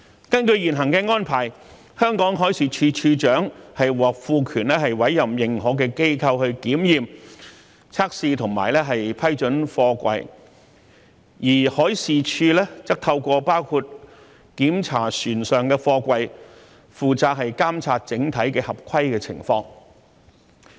根據現行安排，香港海事處處長獲賦權委任認可機構檢驗、測試和批准貨櫃，而海事處則透過包括檢查船上的貨櫃、負責監察整體的合規情況。